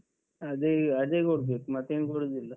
ಅದೇಅದೇ ಕೊಡ್ಬೇಕು, ಮತ್ತೇನ್ ಕೊಡುದಿಲ್ಲ.